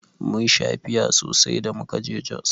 Mun sha fiya sosai da muka je Jos.